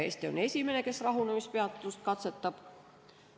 Eesti on esimene, kes rahunemispeatust katsetab.